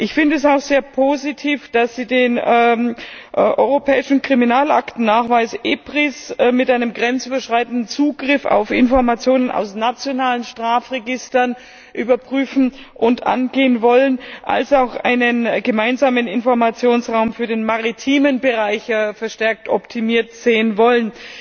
Ich finde es auch sehr positiv, dass Sie den europäischen Kriminalaktennachweis EPRIS mit einem grenzüberschreitenden Zugriff auf Informationen aus nationalen Strafregistern überprüfen und angehen wollen als auch einen gemeinsamen Informationsraum für den maritimen Bereich verstärkt optimiert sehen wollen.